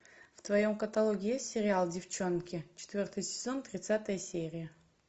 в твоем каталоге есть сериал деффчонки четвертый сезон тридцатая серия